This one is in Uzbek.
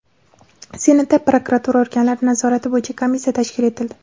Senatda prokuratura organlari nazorati bo‘yicha komissiya tashkil etildi.